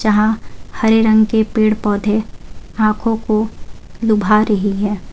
हां हरे रंग के पेड़ पौधे आंखों को लुभा रही है।